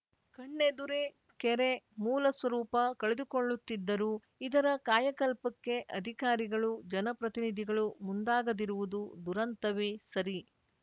ಕಣ್ಣೆದುರೇ ಕೆರೆ ಮೂಲಸ್ವರೂಪ ಕಳೆದುಕೊಳ್ಳುತ್ತಿದ್ದರೂ ಇದರ ಕಾಯಕಲ್ಪಕ್ಕೆ ಅಧಿಕಾರಿಗಳು ಜನಪ್ರತಿನಿಧಿಗಳು ಮುಂದಾಗದಿರುವುದು ದುರಂತವೇ ಸರಿ